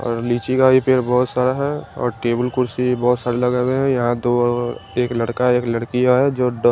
और लीची का भी पेड़ बहोत सारा है और टेबुल कुर्सी भी बहोत सारे लगे हुए है यहाँ दो ओ ओ एक लड़का एक लडकी आए हैं जो डो --